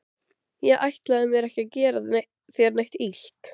Ég ætlaði mér ekki að gera þér neitt illt.